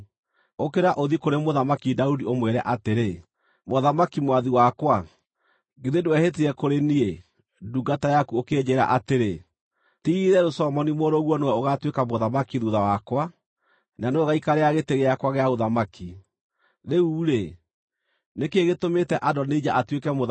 Ũkĩra ũthiĩ kũrĩ Mũthamaki Daudi ũmwĩre atĩrĩ, ‘Mũthamaki mwathi wakwa, githĩ ndwehĩtire kũrĩ niĩ, ndungata yaku ũkĩnjĩĩra atĩrĩ: “Ti-itherũ Solomoni mũrũguo nĩwe ũgaatuĩka mũthamaki thuutha wakwa, na nĩwe ũgaikarĩra gĩtĩ gĩakwa gĩa ũthamaki”? Rĩu-rĩ, nĩ kĩĩ gĩtũmĩte Adonija atuĩke mũthamaki?’